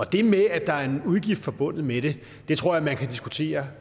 det med at der er en udgift forbundet med det tror jeg man kan diskutere